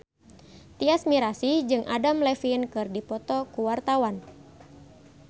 Tyas Mirasih jeung Adam Levine keur dipoto ku wartawan